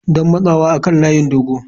Don matsawa kan layin dogo.